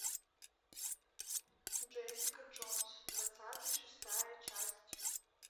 джессика джонс двадцатый шестая часть